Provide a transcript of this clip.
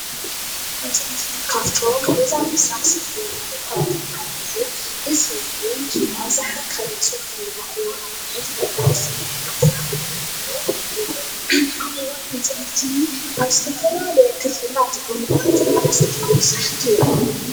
ካብቶም ገዛ ምስራሕ እታወታት ሓደ እዩ፡፡ እዚ እውን ኣብዝሓ ካብ ??????